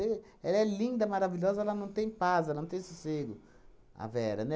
E ela é linda, maravilhosa, mas não tem paz, não tem sossego, a Vera,